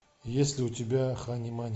есть ли у тебя хани мани